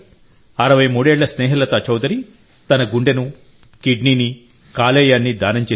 63 ఏళ్ల స్నేహలతా చౌధరి తన గుండెను కిడ్నీని కాలేయాన్ని దానం చేశారు